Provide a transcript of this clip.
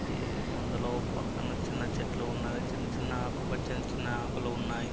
అందులో ఒక పక్కన చిన్న చెట్లు ఉన్నవి. చిన్న చిన్న ఆకుపచ్చని చిన్న ఆకులు ఉన్నాయి.